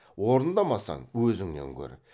орындамасаң өзіңнен көр